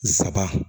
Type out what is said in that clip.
Saba